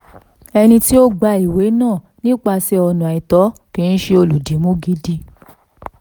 ẹni tí ó gba ìwé náà nípasẹ̀ ọ̀nà àìtọ́ kì í ṣe olùdìmú gidi.